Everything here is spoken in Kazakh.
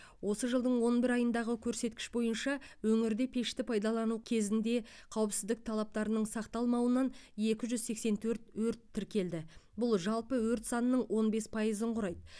осы жылдың он бір айындағы көрсеткіш бойынша өңірде пешті пайдалану кезінде қауіпсіздік талаптарының сақталмауынан екі жүз сексен төрт өрт тіркелді бұл жалпы өрт санының он бес пайызын құрайды